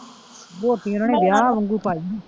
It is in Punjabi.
ਰੋਟੀ ਓਹਨਾ ਨੇ ਵਿਆਹ ਵਾਂਗੂ ਪਾਈ ਸੀ।